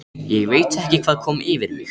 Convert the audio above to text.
Ég veit ekki hvað kom yfir mig.